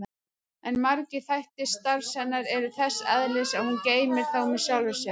En margir þættir starfs hennar eru þess eðlis að hún geymir þá með sjálfri sér.